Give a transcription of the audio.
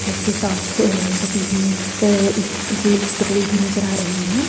के साथ सटी हुई अ एक रेल पटड़ी भी नजर आ रही है।